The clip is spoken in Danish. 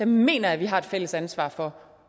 mener jeg vi har et fælles ansvar for